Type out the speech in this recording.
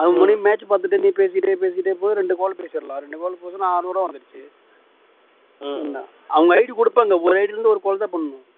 அது முடியும் match பாத்துட்டு நீ பேசிட்டே போய் ரெண்டு call பேசிடலாம் ரெண்டு கால் பேசினா அறுநூறு ரூபா வந்திருச்சு அவங்க ID கொடுப்பாங்க ஒரு ID யில இருந்து ஒரு call தான் பண்ணனும்